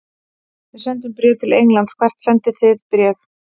Við sendum bréf til Englands. Hvert sendið þið bréf?